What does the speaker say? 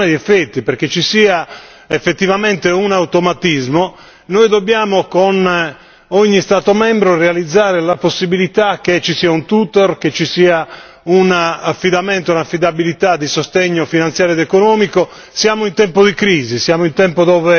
Allora, perché ci sia una produzione di effetti, perché ci sia effettivamente un automatismo, noi dobbiamo con ogni Stato membro realizzare la possibilità che ci sia un tutor, che ci sia un affidamento, un'affidabilità di sostegno finanziario ed economico.